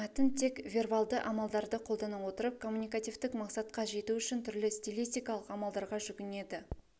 мәтін тек вербалдыамалдарды қолдана отырып коммуникативтік мақсатқа жету үшін түрлі стилистикалық амалдарға жүгінеді